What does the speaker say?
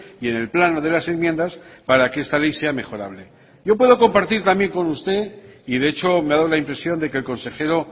y en el plano de las enmiendas para que esta ley sea mejorable yo puedo compartir también con usted y de hecho me ha dado la impresión de que el consejero